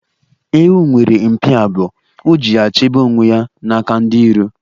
Ewu nwere mpi abụọ, o ji ya chebe onwe ya n'aka ndi iro.